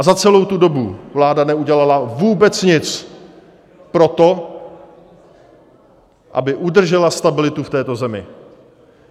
A za celou tu dobu vláda neudělala vůbec nic pro to, aby udržela stabilitu v této zemi.